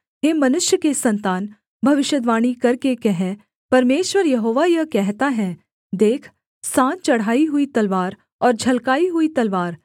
हे मनुष्य के सन्तान भविष्यद्वाणी करके कह परमेश्वर यहोवा यह कहता है देख सान चढ़ाई हुई तलवार और झलकाई हुई तलवार